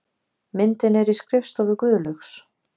Myndin er í skrifstofu Guðlaugs